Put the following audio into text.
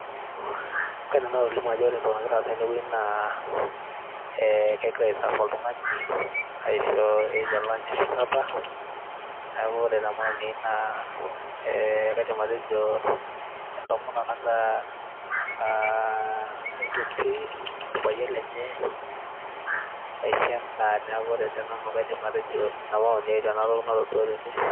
kaidim nanu atolimu ajo ore entoki nagira aasa tenewueji naa, egirae ai serve oltung'ani aisho either lunch ashu supper neaku ore te maoni ai naa kaidim atejo entomononi nagira aitoti orpayian lenye aisho endaa neaku ore te nanu kaidim atejo ina maoni ai tenatoki natodua tene .